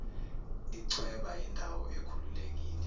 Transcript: ichweba yindawo ekhululekile